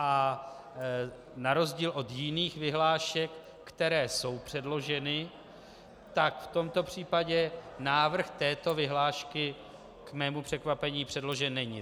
A na rozdíl od jiných vyhlášek, které jsou předloženy, tak v tomto případě návrh této vyhlášky k mému překvapení předložen není.